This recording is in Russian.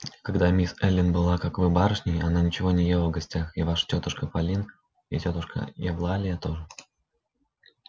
а когда мисс эллин была как вы барышней она ничего не ела в гостях и ваша тётушка полин и тётушка евлалия тоже